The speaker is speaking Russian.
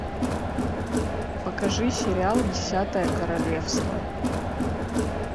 покажи сериал десятое королевство